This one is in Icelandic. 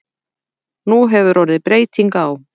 Nú hefur orðið breyting á.